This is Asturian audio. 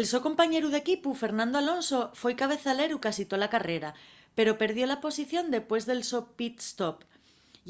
el so compañeru d'equipu fernando alonso foi cabezaleru casi tola carrera pero perdió la posición dempués del so pit-stop